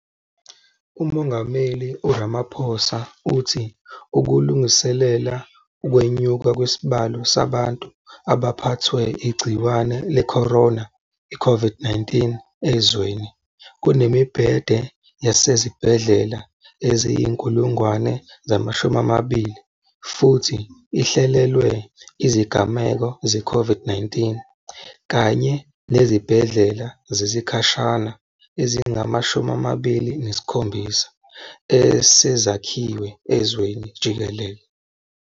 UMongameli u-Ramaphosa uthi, ukulungiselela ukwenyuka kwesibalo sabantu abaphethwe igciwane le-corona, i-COVID-19, ezweni, kunemibhede yasezibhedlela eyizi-20 000, futhi, ihlelelwe izigameko ze-CO VID-19, kanye nezibhedlela zesikhashana ezingama-27 esezakhiwe ezweni jikelele.